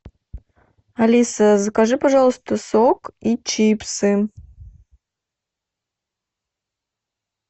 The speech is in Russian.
алиса закажи пожалуйста сок и чипсы